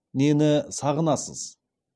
нені сағынасыз